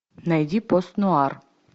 найди пост нуар